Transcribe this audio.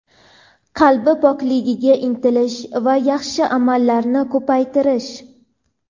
Qalb pokligiga intilish va yaxshi amallarni ko‘paytirish.